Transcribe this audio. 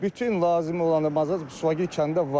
Bütün lazım olanı bazarda, Suvagil kəndində var.